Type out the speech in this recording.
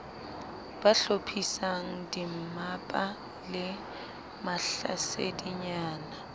ba hlophisang dimmapa le mahlasedinyana